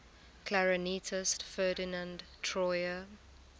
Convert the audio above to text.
clarinetist ferdinand troyer